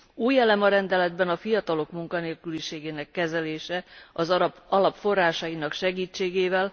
Új elem a rendeletben a fiatalok munkanélküliségének kezelése az alap forrásainak segítségével.